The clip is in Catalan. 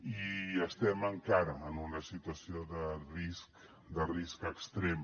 i estem encara en una situació de risc de risc extrem